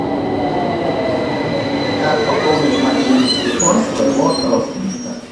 как пополнить мобильный телефон своего родственника